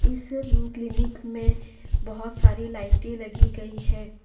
इस क्लीनिक में बहोत सारी लाइटें लगी गई है।